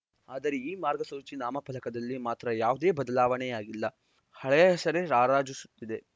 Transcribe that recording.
ಆದರೆ ಈ ಮಾರ್ಗಸೂಚಿ ನಾಮಫಲಕದಲ್ಲಿ ಮಾತ್ರ ಯಾವುದೇ ಬದಲಾವಣೆಯಾಗಿಲ್ಲ ಹಳೆಯ ಹೆಸರೇ ರಾರಾಜಿಸುತ್ತಿದೆ